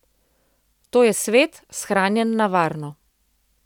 To je svet, shranjen na varno.